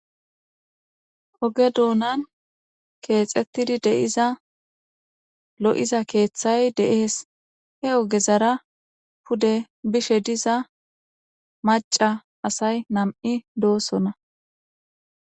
Oge duunan keexxettidi de'iza lo7iza keeththay de7ees. He ogezara pude bishe diza maca asay nam7i doosona.